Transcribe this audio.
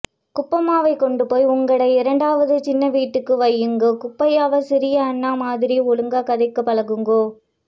குப்பம்மாவை கொண்டு போய் உங்கடை இரண்டாவது சின்ன வீட்டுக்கு வையுங்கோ குட்டிப்பையா சிறி அண்ணா மாதிரி ஒழுங்கா கதைக்க பழகுங்கோ